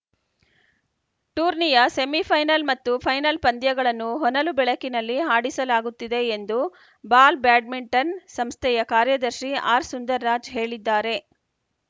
ಟೂರ್ನಿಯ ಸೆಮಿಫೈನಲ್‌ ಮತ್ತು ಫೈನಲ್‌ ಪಂದ್ಯಗಳನ್ನು ಹೊನಲುಬೆಳಕಿನಲ್ಲಿ ಹಾಡಿಸಲಾಗುತ್ತಿದೆ ಎಂದು ಬಾಲ್‌ ಬ್ಯಾಡ್ಮಿಂಟನ್‌ ಸಂಸ್ಥೆಯ ಕಾರ್ಯದರ್ಶಿ ಆರ್‌ ಸುಂದರ್‌ ರಾಜ್ ಹೇಳಿದ್ದಾರೆ